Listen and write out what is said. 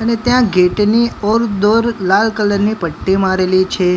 અને ત્યાં ગેટ ની ઓર દોર લાલ કલર ની પટ્ટી મારેલી છે.